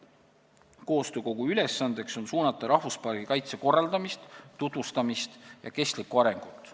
Koostöökogu ülesanne on suunata rahvuspargi kaitse korraldamist, tutvustamist ja kestlikku arengut.